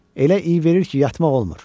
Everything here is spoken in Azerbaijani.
Elə iy verir ki, yatmaq olmur.